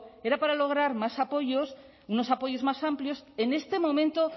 era para lograr más apoyos unos apoyos más amplios en este momento